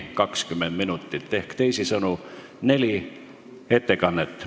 Teisisõnu on neli ettekannet.